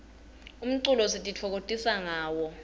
umculo sititfokokotisa ngawo